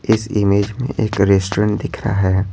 इस इमेज में एक रेस्टोरेंट दिख रहा है।